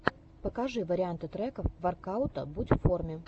покажи варианты треков воркаута будь в форме